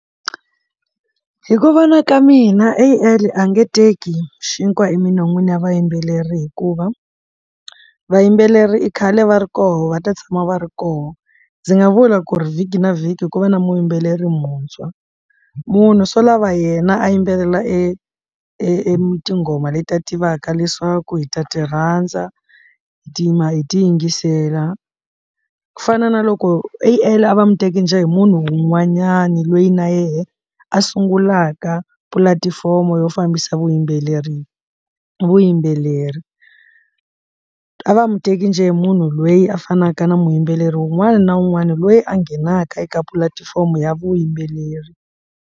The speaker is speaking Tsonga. Hi ku vona ka mina A_I a nge teki xinkwa eminon'wini wa vayimbeleri hikuva vayimbeleri i khale va ri koho va ta tshama va ri kona ndzi nga vula ku ri vhiki na vhiki hi ku va na muyimbeleri muntshwa munhu swo lava yena a yimbelela e e tinghoma letiya tivaka leswaku hi ta ti rhandza hi ti yima hi ti yingisela ku fana na loko A_I va muteki njhe hi munhu un'wanyani lweyi na yena a sungulaka pulatifomo yo fambisa vuyimbeleri vuyimbeleri a va muteki njhe hi munhu lweyi a fanaka na muyimbeleri wun'wana na wun'wana loyi a nghenaka eka pulatifomo ya vuyimbeleri.